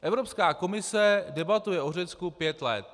Evropská komise debatuje o Řecku pět let.